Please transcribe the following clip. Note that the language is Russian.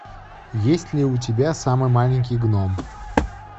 есть ли у тебя самый маленький гном